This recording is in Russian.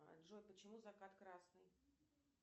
джой почему закат красный